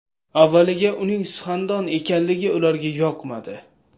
Avvaliga uning suxandon ekanligi ularga yoqmadi.